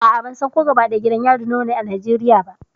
A'a, ban san ko gidan yari nawa ne a Najeriya ba.